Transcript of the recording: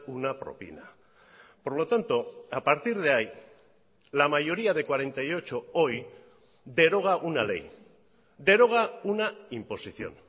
una propina por lo tanto a partir de ahí la mayoría de cuarenta y ocho hoy deroga una ley deroga una imposición